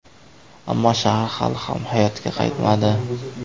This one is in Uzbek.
Ammo shahar hali ham hayotga qaytmadi.